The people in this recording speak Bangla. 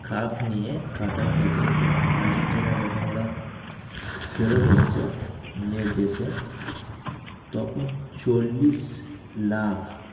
Cup নিয়ে কাতান থেকে তোমার আর্জেন্টিনা যখন ওরা ফেরত এসছে, নিয়ে গেছে তখন চল্লিশ লাখ